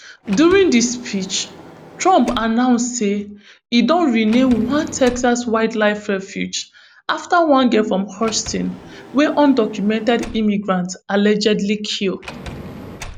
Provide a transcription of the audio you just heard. during di speech trump announce say e don rename one texas wildlife refuge after one girl from houston wey undocumented immigrants allegedly kill